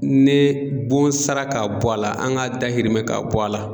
Ne bon sara ka bɔ a la, an ŋa dahirimɛ ka bɔ a la